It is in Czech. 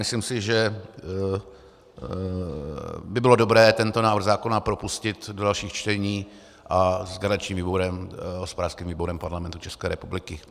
Myslím si, že by bylo dobré tento návrh zákona propustit do dalších čtení a s garančním výborem, hospodářským výborem Parlamentu České republiky.